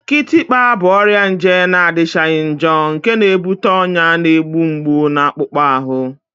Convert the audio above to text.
Kịtịkpa bụ ọrịa nje na-adịchaghị njọ nke na-ebute ọnya na-egbu mgbu na akpụkpọ ahụ